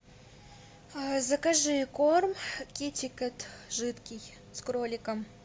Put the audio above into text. закажи корм китикет жидкий с кроликом